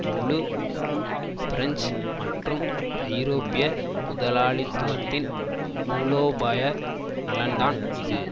முழு பிரெஞ்சு மற்றும் ஐரோப்பிய முதலாளித்துவத்தின் மூலோபாய நலன்தான் இது